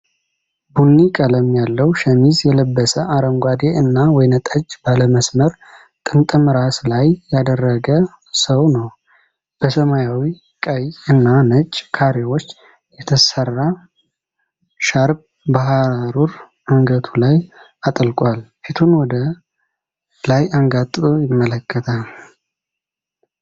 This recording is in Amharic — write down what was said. ቡኒ ቀለም ያለው ሸሚዝ የለበሰ፣ አረንጓዴ እና ወይንጠጅ ባለ መስመር ጥምጥም ራስ ላይ ያደረገ ሰው ነው። በሰማያዊ፣ ቀይ እና ነጭ ካሬዎች የተሰራ ሻርፕ በሐሩር አንገቱ ላይ አጥልቋል። ፊቱን ወደ ላይ አንጋጦ ይመለከታል።